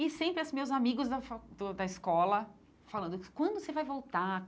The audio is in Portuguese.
E sempre, assim, meus amigos da fa do da escola falando, quando você vai voltar?